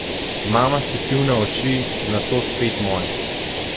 Mama si pivna oči, nato spet moje.